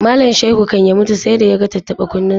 Malam Shaihu kan ya mutu sai da ya ga tattaɓa-kunnensa.